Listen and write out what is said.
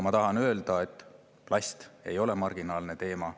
Ma tahan öelda, et plast ei ole marginaalne teema.